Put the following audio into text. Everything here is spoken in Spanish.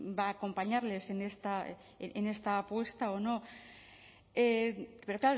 va a acompañarles en esta apuesta o no pero